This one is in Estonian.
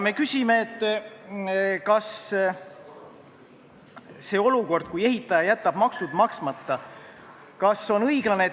Me küsime, kas see olukord, kus ehitaja jätab maksud maksmata, on õiglane.